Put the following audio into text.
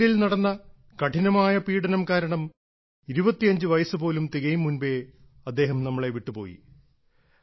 ജയിലിൽ നടന്ന കഠിനമായ പീഡനം കാരണം 25 വയസ്സ് പോലും തികയും മുൻപേ അദ്ദേഹം നമ്മളെ വിട്ടുപോയി